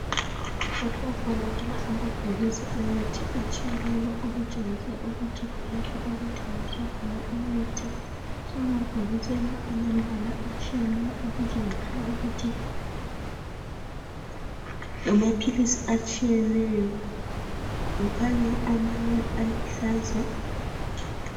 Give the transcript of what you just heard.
Lapha kubonakala amabhokisi emithi etshiyeneyo okutshengisa ukuthi kulapho okuthengiswa khona imithi. Amabhokisi la alemibala etshiyeneyo okutshengisa ukuthi ngamaphilisi atshiyeneyo kukhanya amanye aluhlaza.